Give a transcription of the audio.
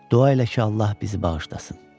Dua elə ki, Allah bizi bağışlasın.